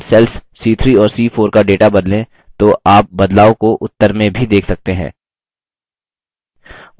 यदि हम cells c3 और c4 का data बदलें तो आप बदलाव को उत्तर में भी देख सकते हैं